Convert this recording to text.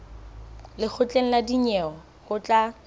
lekgotleng la dinyewe ho tla